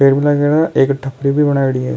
एक खेरा एक थपड़ी भी बनायेड़ी है।